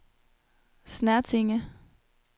Snertinge